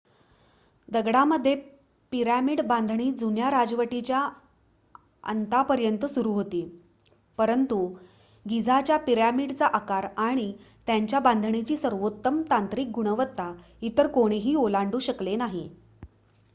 दगडामध्ये पिरामिड बांधणी जुन्या राजवटीच्या अंतापर्यंत सुरु होती परंतु गिझाच्या पिरॅमिडचा आकार आणि त्यांच्या बांधणीची सर्वोत्तम तांत्रिक गुणवत्ता इतर कोणीही ओलांडू शकले नाही